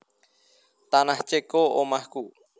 Tanah Ceko omahku